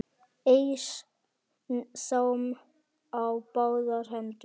Eys þeim á báðar hendur!